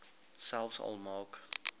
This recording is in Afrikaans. selfs al maak